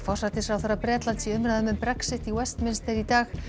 forsætisráðherra Bretlands í umræðum um Brexit í Westminster í dag